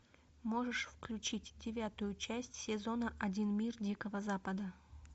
можешь включить девятую часть сезона один мир дикого запада